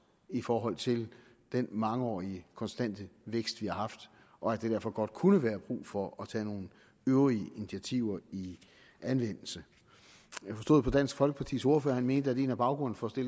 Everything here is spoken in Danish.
i forhold til den mangeårige konstante vækst vi har haft og at der derfor godt kunne være brug for at tage nogle øvrige initiativer i anvendelse jeg forstod på dansk folkepartis ordfører at han mente at en af baggrundene for at